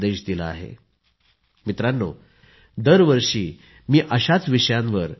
do not think that 12th board marks decide what you are capable of achieving in life